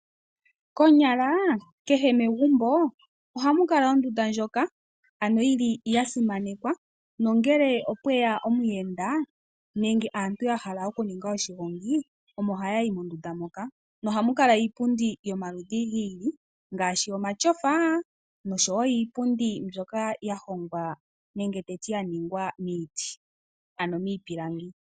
Konyala kehe megumbo ohamu kala ondunda ndjoka ya simanekwa, nongele opwe ya omuyenda nenge aantu ya hala okuninga oshigongi omo haya yi mondunda moka nohamu kala iipundi yomaludhi gi ili ngaashi omatyofa nosho wo iipundi mbyoka ya ningwa miiti, ano miipilangi.